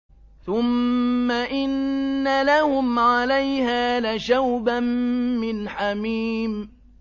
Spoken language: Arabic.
ثُمَّ إِنَّ لَهُمْ عَلَيْهَا لَشَوْبًا مِّنْ حَمِيمٍ